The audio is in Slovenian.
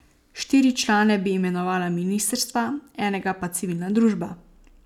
Štiri člane bi imenovala ministrstva, enega pa civilna družba.